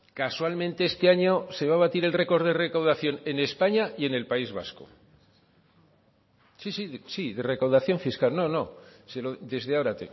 casualmente este año se va a batir el récord de recaudación en españa y en el país vasco sí sí de recaudación fiscal no no desde ahora